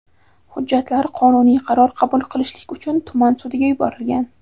hujjatlar qonuniy qaror qabul qilishlik uchun tuman sudiga yuborilgan.